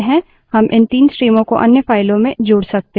लेकिन लिनक्स में हम इस स्वतः व्यवहार को बदल सकते हैं